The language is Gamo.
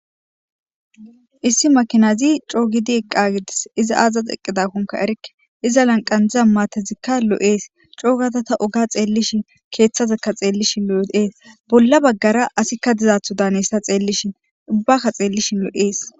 issi makinazi coogidi eqqagidis iza aazax eqqidakkonka erikke iza lanqandziza maatezikka lo7ees coogatata oga xeellishi keeththazekka xeellishi lo7eees bolla baggara asikka dizaatho daanessa xeellishin ubbakka xeellishi lo7ees